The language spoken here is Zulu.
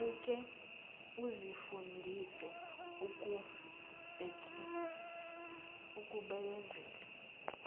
awuke uzifundise ukubekezela